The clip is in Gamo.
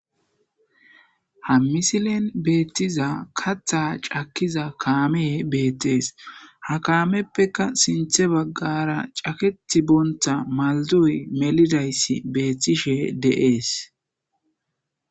ha misilen beettiza katha cakkiza kaame beettees ha kaameppeka sinthe baggara caketi bonta maldoy melidayssi beethtishe deees